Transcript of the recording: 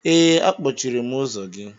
Ee, akpọchiri m ụzọ gị.